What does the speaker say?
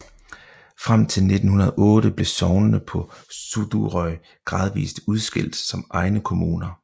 Frem til 1908 blev sognene på Suðuroy gradvist udskilt som egne kommuner